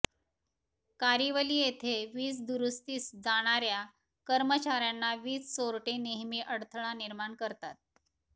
कारीवली येथे वीज दुरूस्तीस जाणार्या कर्मचार्यांना वीज चोरटे नेहमी अडथळा निर्माण करतात